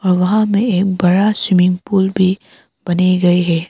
वहां में एक बड़ा स्विमिंग पूल भी बने गए है।